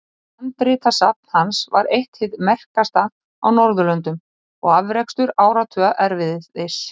Handritasafn hans var eitt hið merkasta á Norðurlöndum og afrakstur áratuga erfiðis.